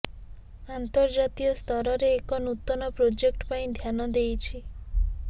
ଆନ୍ତର୍ଜାତୀୟ ସ୍ତରରେ ଏକ ନୂତନ ପ୍ରୋଜେକ୍ଟ ପାଇଁ ଧ୍ୟାନ ଦେଇଛି